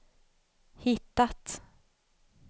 hittat